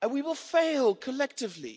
And we will fail collectively.